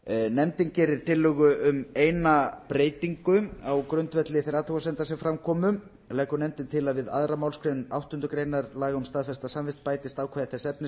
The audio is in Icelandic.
nefndin gerir tillögu um eina breytingu á grundvelli þeirra athugasemda sem fram komu leggur nefndin til að við aðra málsgrein áttundu grein laga um staðfesta samvist bætist ákvæði þess efnis